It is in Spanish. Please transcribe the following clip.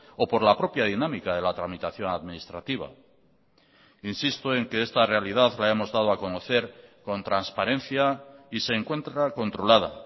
o por la propia dinámica de la tramitación administrativa insisto en que esta realidad la hemos dado a conocer con transparencia y se encuentra controlada